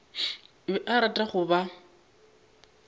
be a rata go ba